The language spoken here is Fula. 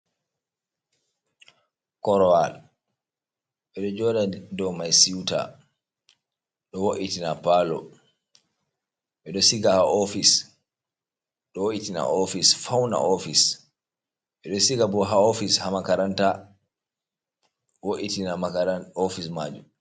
Korwal ɓe ɗo joɗa dou mai siuta, ɗo wo’itina pallo, ɓe ɗo siga ha ofis ɗo wo’itin ofis fauna ofis, ɓe ɗo siga bo ha ofis ha makaranta, wo’itina makarant ofis majum.